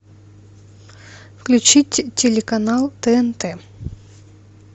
включить телеканал тнт